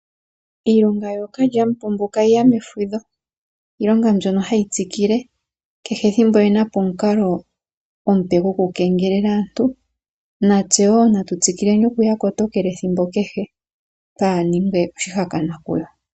Iilonga yookalyamupombo ka yiya mefudho, iilonga mbyono hayi tsikile, kehe ethimbo oye napo omukalo omupe go kukengelela aantu, natse woo natu tsikileni oku ya kotokela ethimbo kehe, twaaningwe oshihakanwa kuyo.